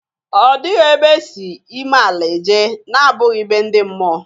Ọ dịghị ebe e si ime ala eje na-abụghị be ndi mmụọ!